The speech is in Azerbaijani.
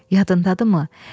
Yadındadırımı?